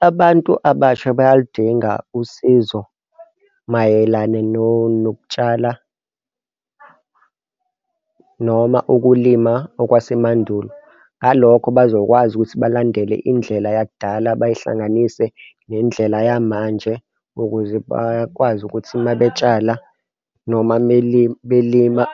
Abantu abasha bayalidinga usizo mayelana nokutshala noma ukulima okwasemandulo. Ngalokho bazokwazi ukuthi balandele indlela yakudala, bayihlanganise nendlela yamanje ukuze bakwazi ukuthi uma betshala noma belima